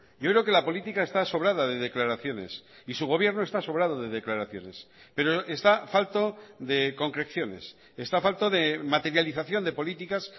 yo creo que la política está sobrada de declaraciones y su gobierno está sobrado de declaraciones pero está falto de concreciones está falto de materialización de políticas